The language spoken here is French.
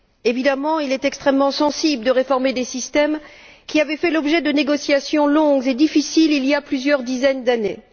Évidemment, il est extrêmement sensible de réformer des systèmes qui avaient fait l'objet de négociations longues et difficiles, il y a plusieurs dizaines d'années.